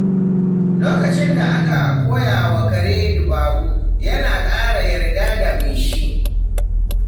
Lokacin da aka koya wa kare dabaru, yana ƙara yarda da mai shi.